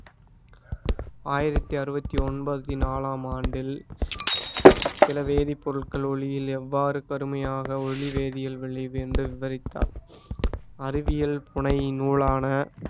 ஆயிரத்தி அறுவத்தி ஒன்பத்தி நாலாம் ஆண்டில் சில வேதிப்பொருட்கள் ஒளியில் எவ்வாறு கருமையாக ஒளி வேதியல் விளைவு என்று விவரித்தார் அறிவியல் புனை நூலான